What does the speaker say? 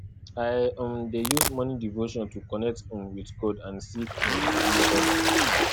i um dey use morning devotion to connect um with god and seek um wisdom